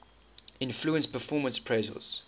influence performance appraisals